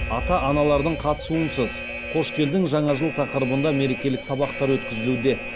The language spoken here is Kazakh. ата аналардың қатысуынсыз қош келдің жаңа жыл тақырыбында мерекелік сабақтар өткізілуде